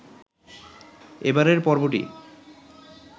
এবারের পর্বটি